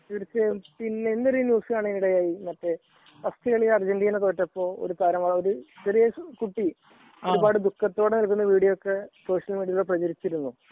തീർച്ചയായും . ഇന്നലെ ഒരു ന്യൂസ് കാണാനിടയായി . ഫസ്റ്റ് കാളി അർജന്റീന തോറ്റപ്പോൾ ഒരു കുട്ടി ഒരുപാട് ദുഖത്തോടെ അതിന്റെ വീഡിയോ ഒക്കെ സോഷ്യൽ മീഡിയയിൽ പ്രചരിച്ചിരുന്നു